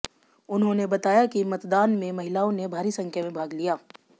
उन्होंने बताया कि मतदान में महिलाओं ने भारी संख्या में भाग लिया